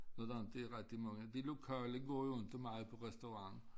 Når er der inte er rigtig mange de lokale går jo inte meget på restaurant